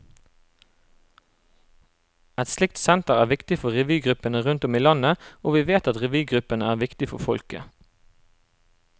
Et slikt senter er viktig for revygruppene rundt om i landet, og vi vet at revygruppene er viktige for folket.